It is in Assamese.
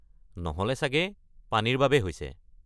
নহ’লে চাগে পানীৰ বাবে হৈছে?